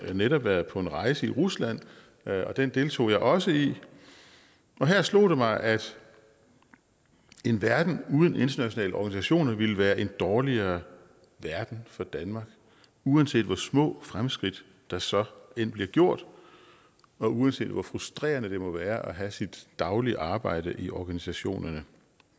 netop været på en rejse i rusland og den deltog jeg også i og her slog det mig at en verden uden internationale organisationer ville være en dårligere verden for danmark uanset hvor små fremskridt der så end bliver gjort og uanset hvor frustrerende det må være at have sit daglige arbejde i organisationerne